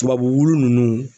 Tubabu wulu ninnu